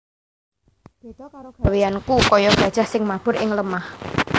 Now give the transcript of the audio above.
Béda karo gawéyanku kaya gajah sing mabur ing lemah